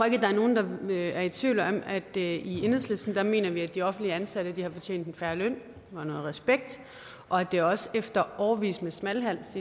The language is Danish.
er nogen der er i tvivl om at i enhedslisten mener vi at de offentligt ansatte har fortjent en fair løn og noget respekt og at det også efter årevis med smalhals